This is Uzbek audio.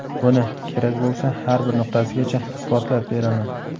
Buni, kerak bo‘lsa har bir nuqtasigacha isbotlab beraman.